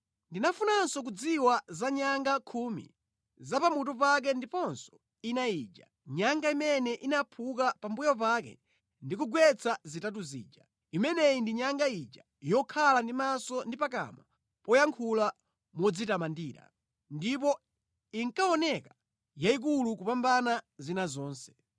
Ndinafunanso kudziwa za nyanga khumi za pa mutu pake ndiponso ina ija, nyanga imene inaphuka pambuyo pake ndi kugwetsa zitatu zija. Imeneyi ndi nyanga ija yokhala ndi maso ndi pakamwa poyankhula modzitamandira, ndipo inkaoneka yayikulu kupambana zina zonse.